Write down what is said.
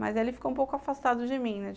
Mas ele ficou um pouco afastado de mim, né?